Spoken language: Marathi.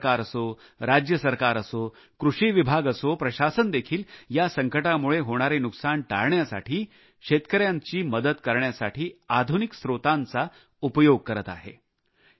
भारत सरकार असो राज्य सरकार असो कृषी विभाग असो प्रशासन देखील या संकटामुळे होणारे नुकसान टाळण्यासाठी शेतकऱ्यांची मदत करण्यासाठी आधुनिक स्त्रोतांचा उपयोग करीत आहे